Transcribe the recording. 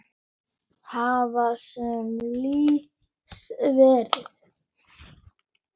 Hvað sem síðar verður.